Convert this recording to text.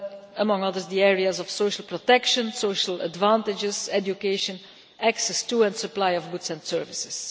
among others the areas of social protection, social advantages, education, and access to and supply of goods and services.